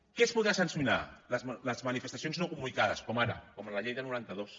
què es podrà sancionar les manifestacions no comunicades com ara com amb la llei del noranta dos